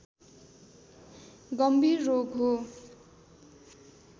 गंभीर रोग हो